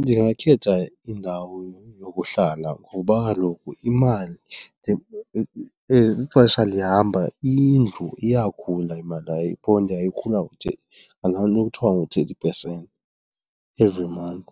Ndingakhetha indawo yokuhlala ngoba kaloku imali, as ixesha lihamba indlu iyakhula imali yayo, ibhondi yayo ikhula ngalaa nto kuthiwa u-thirty percent every month